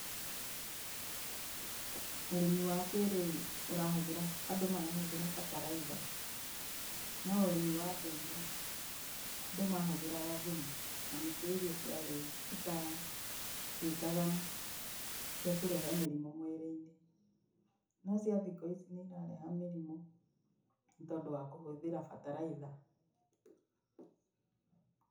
Ũrĩmi wa kĩĩrĩu andũ marahũthĩra bataraitha. No ũrĩmi wa ndũire, andũ mahũthĩraga thumu. Na nĩkĩo irio itatuĩkaga cia kũrehe mĩrimũ mwĩrĩ-inĩ. No cia thikũ ici nĩ irareha mĩrimũ nĩ tondũ wa kũhũthĩra bataraitha.